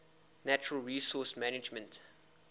natural resource management